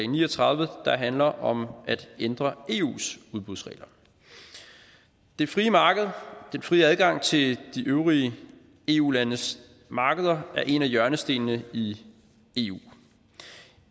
ni og tredive der handler om at ændre eus udbudsregler det frie marked den frie adgang til de øvrige eu landes markeder er en af hjørnestenene i eu